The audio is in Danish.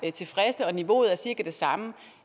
er tilfredse og niveauet er cirka det samme